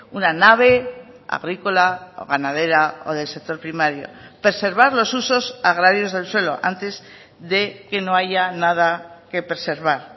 una nave agrícola o ganadera o del sector primario preservar los usos agrarios del suelo antes de que no haya nada que preservar